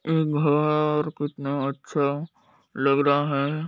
ये घर कितना अच्छा लग रहा हैं।